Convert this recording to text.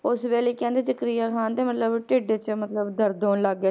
ਉਸ ਵੇਲੇ ਕਹਿੰਦੇ ਜ਼ਕਰੀਆ ਖ਼ਾਨ ਦੇ ਮਤਲਬ ਢਿੱਡ 'ਚ ਮਤਲਬ ਦਰਦ ਹੋਣ ਲੱਗ ਗਿਆ,